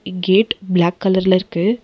இக் gate black கலர்ல இருக்கு.